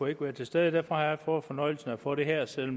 ikke være til stede og derfor har jeg fået fornøjelsen af at få det her selv